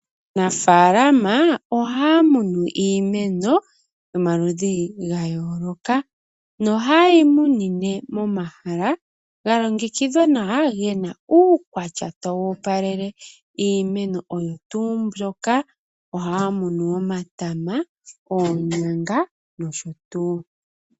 Aanafalama oha ya kunu iimeno yomaludhi ga yooloka nohaye yi kunu momahala ga longekidhwa nawa ge na uukwatya tawu opalele iimeno oyo tuu mbyoka oha ya kunu omatama, oonyanga nosho tuu.